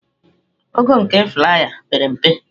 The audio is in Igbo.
Ogo nke flaiya a pere mpe.